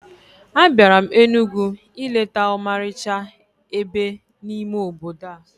Abịara m Enugwu ileta ọmarịcha ebe n'ime obodo a